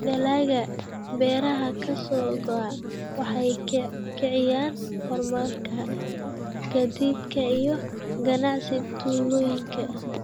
Dalagga beeraha ka soo go'a waxay kiciyaan horumarka gaadiidka iyo ganacsiga tuulooyinka.